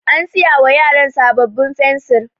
An siya wa yaran sabbabin fensir.